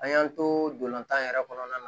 An y'an tolan yɛrɛ kɔnɔna na